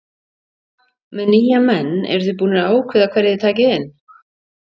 Með nýja menn eruð þið búnir að ákveða hverja þið takið inn?